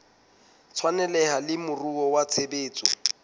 tshwaneleha le moruo wa tshebetso